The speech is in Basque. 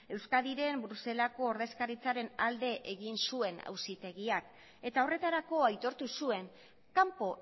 euskadiren bruselako ordezkaritzaren alde egin zuen auzitegiak eta horretarako aitortu zuen kanpo